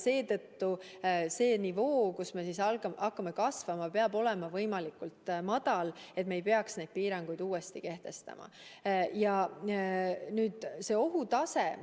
Seetõttu see nivoo, kust me hakkame kasvama, peab olema võimalikult madal, et me ei peaks piiranguid uuesti kehtestama.